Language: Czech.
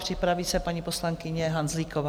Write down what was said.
Připraví se paní poslankyně Hanzlíková.